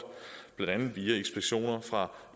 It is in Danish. blandt andet via inspektioner fra